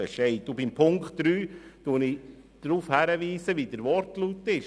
Betreffend den Punkt 3 weise ich auf den Wortlaut hin: